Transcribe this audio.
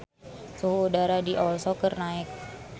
Suhu udara di Oslo keur naek